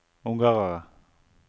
ungarere